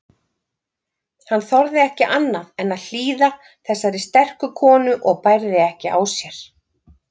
Hann þorði ekki annað en hlýða þessari sterku konu og bærði ekki á sér.